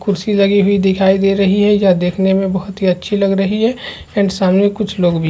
कुर्सी लगी हुई दिखाई दे रही है यह देखने में बहुत ही अच्छी लग रही है एंड सामने कुछ लोग भी है।